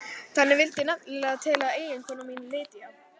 Þannig vildi nefnilega til að eiginkona mín Lydia